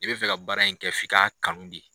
I bɛ fɛ ka baara in kɛ f'i ka kanu de.